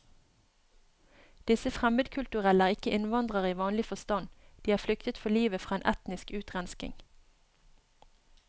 Disse fremmedkulturelle er ikke innvandrere i vanlig forstand, de har flyktet for livet fra en etnisk utrenskning.